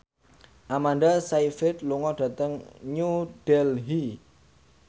Amanda Sayfried lunga dhateng New Delhi